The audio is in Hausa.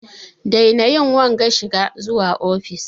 Daina yin wanga shigan zuwa ofis!